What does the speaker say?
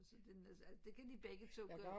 Så den er så det kan de begge to godt